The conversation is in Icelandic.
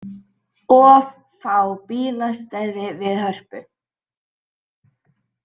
Of fá bílastæði við Hörpu